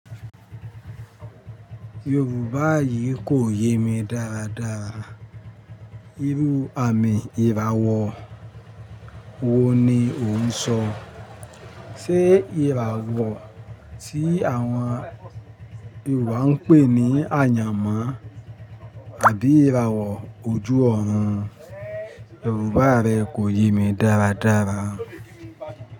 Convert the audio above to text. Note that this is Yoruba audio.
Yorùbá yìí kò yé mi dáradára. Irú àmì ìràwọ̀ wo ni ò ń sọ? Sé ìràwọ̀ tí àwọn Yorùbá ń pè ní àyànmọ́ àbí ìràwọ̀ ojú ọ̀run? Yorùbá rẹ kò yé mi dáradára.